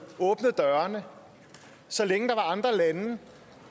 åbnet dørene så længe andre lande der